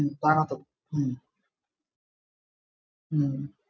ഹും ഉം ഉം